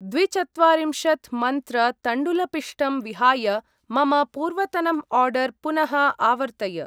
द्वि चत्वरिम्शत् मन्त्र तण्डुलपिष्टम् विहाय मम पूर्वतनम् आर्डर् पुनः आवर्तय।